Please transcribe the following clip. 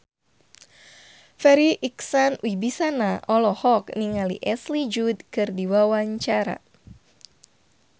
Farri Icksan Wibisana olohok ningali Ashley Judd keur diwawancara